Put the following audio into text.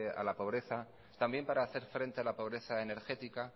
a la pobreza también para hacer frente a la pobreza energética